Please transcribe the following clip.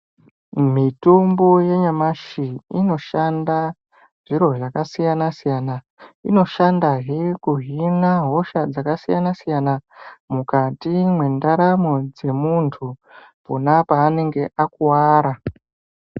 Mitombo yanyamashi inoshanda zviro zvakasiyana-siyana. Inoshandahe kuhina hosha dzakasiyana-siyana , mukati mwendaramo dzemuntu, pona paanenge akuwara.